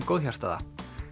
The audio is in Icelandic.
góðhjartaða